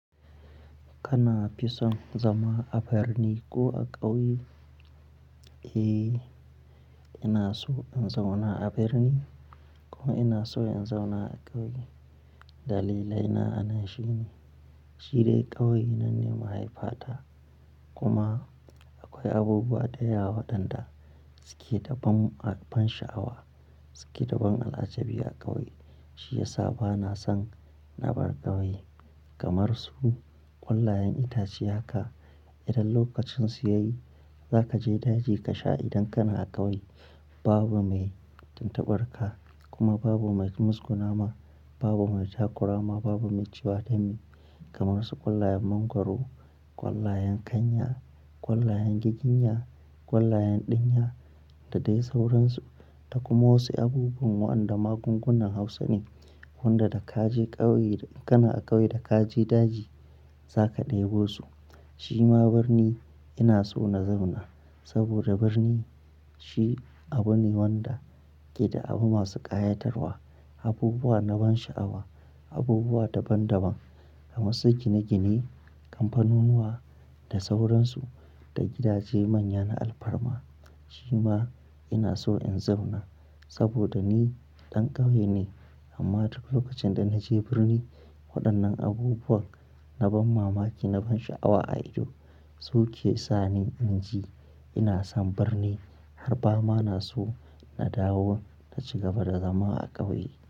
Kana fison zama a birni ko a ƙauye? Eh, ina so in zauna a birni ko ina so in zauna a ƙauye. Dalilai na anan shi ne, shi dai ƙauye nan nema haifata kuma akwai abubuwa da yawa waɗanda suke da ban a ban sha'awa, suke da ban al'ajabi a ƙauye. Shi ya sa bana son na bar ƙauye. Kamar su ƙwallayen itace haka, idan lokacin su yayi za ka je daji ka sha idan kana ƙauye babu mai tuntuɓarka kuma babu mai ki musgu nama, babu mai takurama, babu mai cewa dame. Kamar su ƙwallayen mangwaro, ƙwallayen kanya, ƙwallayen giginya, ƙwallayen ɗinya da dai sauransu. Ta kuma wasu abubuwan waɗanda magungunan Hausa ne, wanda da ka je ƙauye da kana a ƙauye da ka je daji za ka ɗebo su. Shi ma birni ina so na zauna saboda birni shi abu ne wanda ke da abu masu ƙayatarwa, abubuwa na ban sha'awa, abubuwa daban daban, kamar su gine gine, kamfanunuwa da sauransu da gidaje manya na alfarma. Shi ma ina so in zauna saboda ni ɗan ƙauye ne amma duk lokacin da na je birni, waɗannan abubuwa na ban mamaki, na ban sha'awa a ido su ke sa ni inji ina son birni har ba ma na so na dawo na cigaba da zama a ƙauye.